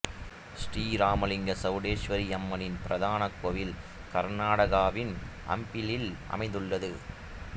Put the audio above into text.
ஸ்ரீ ராமலிங்க சவுடேஸ்வரி அம்மனின் பிரதான கோயில் கர்நாடகாவின் ஹம்பியில் அமைந்துள்ளது